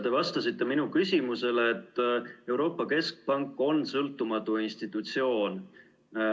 Te vastasite minu küsimusele, et Euroopa Keskpank on sõltumatu institutsioon.